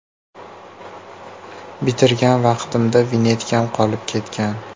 Bitirgan vaqtimda vinyetkam qolib ketgan.